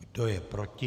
Kdo je proti?